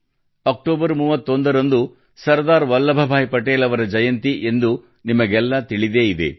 October 31 ರಂದು ಸರ್ದಾರ್ ವಲ್ಲಭಬಾಯಿ ಪಟೇಲ್ ಅವರ ಜಯಂತಿಯೆಂದು ನಿಮಗೆಲ್ಲಾ ತಿಳಿದೇ ಇದೆ